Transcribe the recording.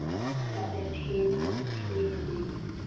Það er hin hliðin.